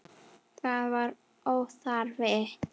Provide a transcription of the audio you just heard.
Það var óþarfi.